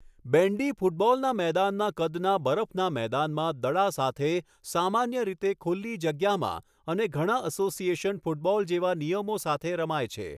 બેન્ડી ફૂટબૉલના મેદાનના કદના બરફના મેદાનમાં દડા સાથે, સામાન્ય રીતે ખુલ્લી જગ્યામાં અને ઘણા અસોસિએશન ફૂટબૉલ જેવા નિયમો સાથે રમાય છે.